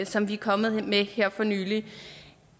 som vi er kommet med her for nylig